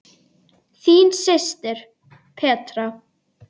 Þín systir, Petra.